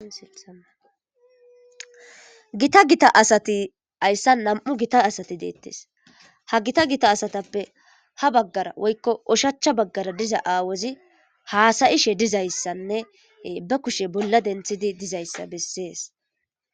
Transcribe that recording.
Gita gita asati haysan nam'u gita asati detes ha gita gita asatappe ha bagara woyko oshacha bagara diza awozi hasayishe dizaysanne be kushe bolla denthidi dizaysa bese